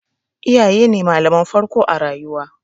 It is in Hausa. Iyaye ne malaman farko a rayuwa.